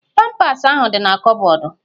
Pampas ahụ di na kọbọdu